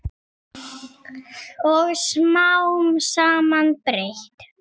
Og smám saman breyt